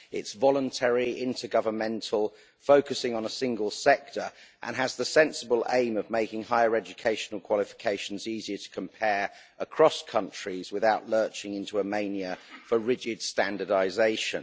It's voluntary, inter governmental, focusing on a single sector and has the sensible aim of making higher educational qualifications easier to compare across countries without lurching into a mania for rigid standardisation.